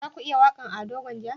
Za ku iya waƙan Ado gwanja?